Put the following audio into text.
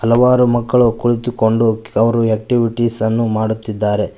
ಹಲವಾರು ಮಕ್ಕಳು ಕುಳಿತುಕೊಂಡು ಅವರು ಆಕ್ಟಿವಿಟೀಸ್ ಅನ್ನು ಮಾಡುತ್ತಿದ್ದಾರೆ.